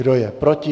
Kdo je proti?